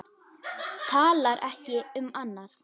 Talar ekki um annað.